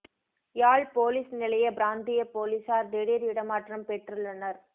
யாழ் police நிலைய பிராந்தியப் பொலிசார் திடீர் இடமாற்றம் பெற்றுள்ளனர்